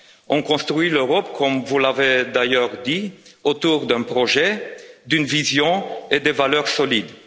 On construit l'Europe, comme vous l'avez d'ailleurs dit, autour d'un projet, d'une vision et de valeurs solides.